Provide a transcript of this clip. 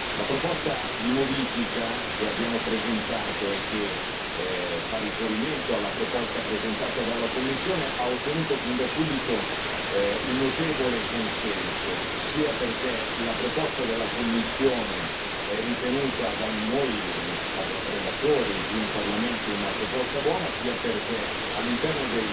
La proposta di modifica che abbiamo presentato e che fa riferimento alla proposta presentata dalla Commissione ha ottenuto fin da subito un notevole consenso, sia perché la proposta della Commissione è ritenuta da noi relatori, qui in Parlamento, una proposta buona, sia perché all'interno